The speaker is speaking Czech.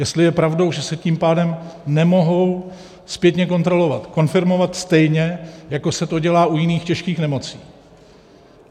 Jestli je pravdou, že se tím pádem nemohou zpětně kontrolovat, konfirmovat, stejně jako se to dělá u jiných těžkých nemocí.